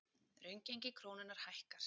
Raungengi krónunnar hækkar